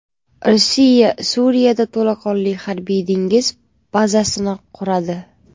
Rossiya Suriyada to‘laqonli harbiy-dengiz bazasini quradi.